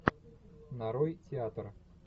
нарой театр